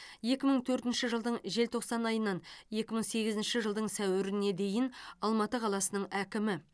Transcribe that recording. екі мың төртінші жылдың желтоқсан айынан екі мың сегізінші жылдың сәуіріне дейін алматы қаласының әкімі